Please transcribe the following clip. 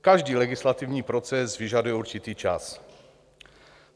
Každý legislativní proces vyžaduje určitý čas.